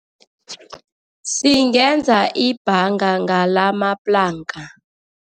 Singenza ibhanga ngalamaplanka.